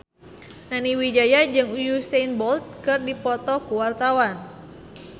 Nani Wijaya jeung Usain Bolt keur dipoto ku wartawan